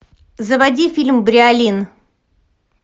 заводи фильм бриолин